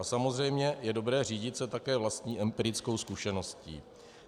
A samozřejmě je dobré řídit se také vlastní empirickou zkušeností.